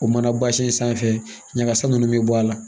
O mana bazin sanfɛ ɲagasa nunnu bɛ bɔ a la